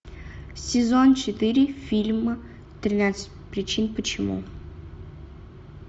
сезон четыре фильма тринадцать причин почему